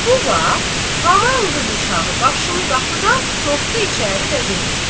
Bu vaxt haman qız uşağı başını qapıdan soxdu içəri və dedi: